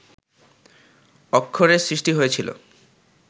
অক্ষরের সৃষ্টি হয়েছিল